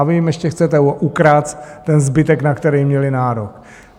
A vy jim ještě chcete ukrást ten zbytek, na který měli nárok.